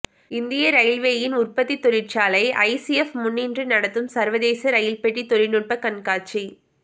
இந்திய ரயில்வேயின் உற்பத்தித் தொழிற்சாலை ஐசிஎப் முன்னின்று நடத்தும் சர்வதேச ரயில்பெட்டித் தொழில்நுட்பக் கண்காட்சி